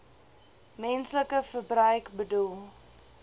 menslike verbruik bedoel